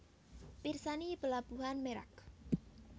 Pirsani Pelabuhan Merak